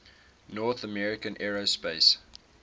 north american aerospace